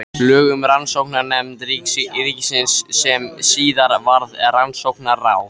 Lög um Rannsóknanefnd ríkisins sem síðar varð Rannsóknaráð.